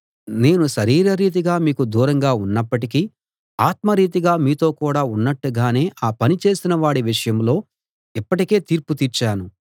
నేను శరీరరీతిగా మీకు దూరంగా ఉన్నప్పటికీ ఆత్మరీతిగా మీతో కూడ ఉన్నట్టుగానే ఆ పని చేసినవాడి విషయంలో ఇప్పటికే తీర్పు తీర్చాను